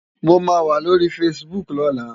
Mó má wá lóri fásibúk lòlá